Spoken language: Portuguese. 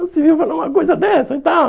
onde se viu falar uma coisa dessa e tal?